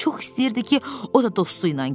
Çox istəyirdi ki, o da dostu ilə getsin.